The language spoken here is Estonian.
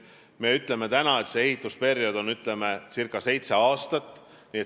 Me ütleme täna, et ehitusperiood on circa seitse aastat.